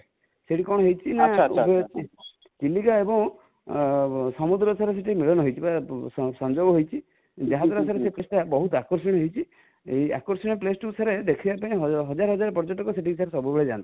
ସେଠି କଣ ହେଇଛି ନା ଜେଚିଲିକା ଏବୁଁ ସମୁଦ୍ର sir ସେଠି ମିଳନ ହେଇଛି ବା ସଂଯୋଗ ହେଇଛି ଯାହା ଦ୍ୱାରା ସେ place ଟା ବହୁତ ଆକର୍ଷଣୀୟ ହେଇଛି, ଆକର୍ଷଣୀୟ place ଟି କୁ sir ଦେଖିବା ପାଇଁ ହଜାର ହଜାର ପର୍ଯ୍ୟଟକ ସେଠିକୁ ସାର ସବୁବେଳେ ଯାନ୍ତି